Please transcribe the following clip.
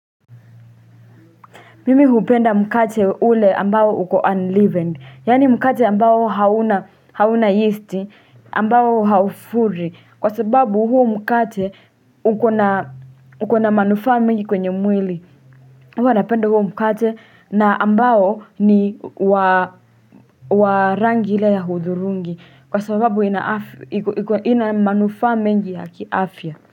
Mimi hupenda mkate ule ambao uko unleavened, yaani mkate ambao hauna yeasti, ambao haufuri, kwa sababu huu mkate uko na uko na manufaa mingi kwenye mwili, mi hua napenda huo mkate na ambao ni wa rangi ile ya hudhurungi, kwa sababu ina afy ina manufaa mengi ya kiafya.